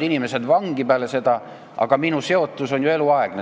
inimesed on peale seda läinud vangi, aga minu seotus sellega on ju eluaegne.